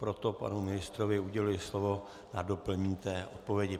Proto panu ministrovi uděluji slovu na doplnění odpovědi.